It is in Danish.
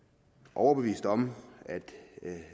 overbeviste om at